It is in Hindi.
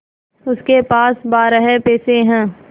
उसके पास बारह पैसे हैं